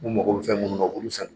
Mun mako bɛ fɛn munnu na u b'olu san dɛ.